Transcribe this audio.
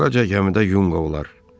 Əvvəlcə gəmidə yunq olar.